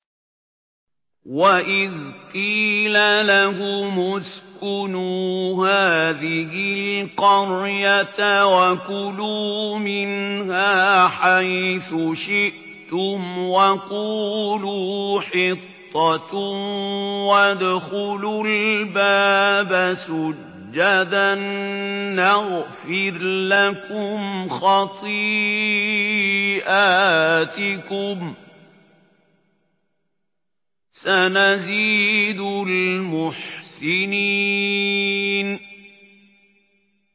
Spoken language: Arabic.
وَإِذْ قِيلَ لَهُمُ اسْكُنُوا هَٰذِهِ الْقَرْيَةَ وَكُلُوا مِنْهَا حَيْثُ شِئْتُمْ وَقُولُوا حِطَّةٌ وَادْخُلُوا الْبَابَ سُجَّدًا نَّغْفِرْ لَكُمْ خَطِيئَاتِكُمْ ۚ سَنَزِيدُ الْمُحْسِنِينَ